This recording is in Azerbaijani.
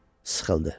Sıxıldı.